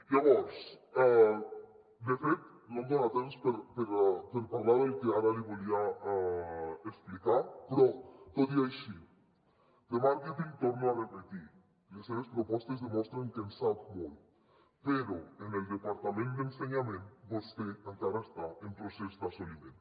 llavors de fet no tinc temps per parlar del que ara li volia explicar però tot i així de màrqueting ho torno a repetir les seves propostes demostren que en sap molt però en el departament d’ensenyament vostè encara està en procés d’assoliment